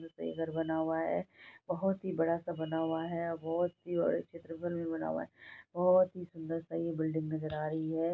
ये घर बना हुआ है। बहुत ही बड़ा स बना हुआ है और बहुत ही और एक भी बना हुआ है। बहुत ही सुंदर सा ये बिल्डिंग नजर आ रही है।